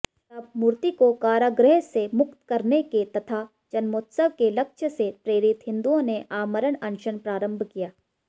तब मूर्तिको कारागृहसे मुक्त करनेके तथा जन्मोत्सवके लक्ष्यसे प्रेरित हिंदुओंने आमरण अनशन प्रारंभ किया